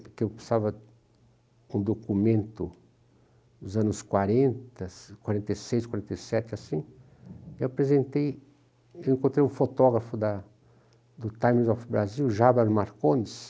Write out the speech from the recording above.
porque eu precisava de um documento dos anos quarenta, quarenta e seis, quarenta e sete, assim, eu apresentei, eu encontrei um fotógrafo da do Times of Brazil,